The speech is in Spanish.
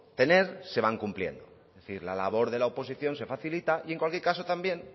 tener se van cumpliendo es decir la labor de la oposición se facilita y en cualquier caso también